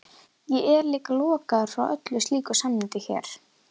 Ég er líka lokaður frá öllu slíku samneyti hér.